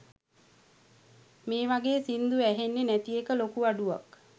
මේ වගේ සින්දු ඇහෙන්නෙ නැති එක ලොකු අඩුවක්